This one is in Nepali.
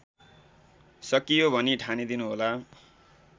सकियो भनी ठानिदिनुहोला